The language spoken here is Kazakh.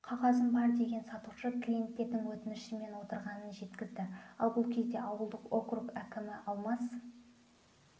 қағазым бар деген сатушы клиеттердің өтінішімен отырғанын жеткізді ал бұл кезде ауылдық округ әкімі алмас